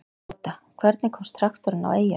Gáta: Hvernig komst traktorinn á eyjuna?